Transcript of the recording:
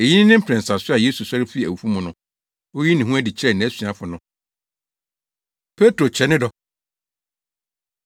Eyi ne ne mprɛnsa so a Yesu sɔre fii awufo mu no, oyii ne ho adi kyerɛɛ nʼasuafo no. Petro Kyerɛ Ne Dɔ